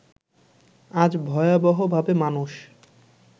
আজ ভয়াবহভাবে মানুষ